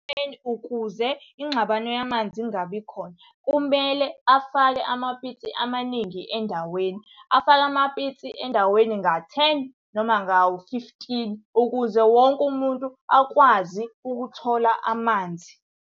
ukuze ingxabano yamanzi ingabi khona, kumele afake amapitsi amaningi endaweni, afake amapitsi endaweni nga-ten noma ngawu-fifteen ukuze wonke umuntu akwazi ukuthola amanzi.